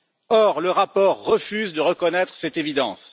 Or, le rapport refuse de reconnaître cette évidence.